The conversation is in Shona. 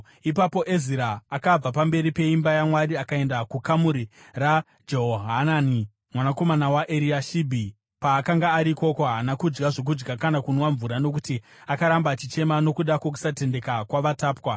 Ipapo Ezira akabva pamberi peimba yaMwari akaenda kukamuri raJehohanani mwanakomana waEriashibhi. Paakanga ari ikoko haana kudya zvokudya kana kunwa mvura nokuti akaramba achichema nokuda kwokusatendeka kwavatapwa.